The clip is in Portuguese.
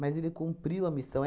Mas ele cumpriu a missão.